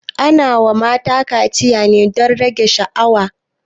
Ana wa mata kaciya ne don rage sha'awa